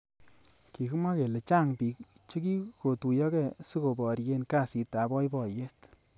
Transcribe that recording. Kikimwa kele chang bik chekikotuyokei siko borye kasit ab boiboyet